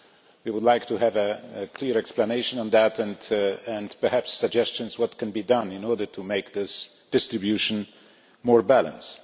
We would like to have a clear explanation on that and perhaps suggestions as to what can be done in order to make this distribution more balanced.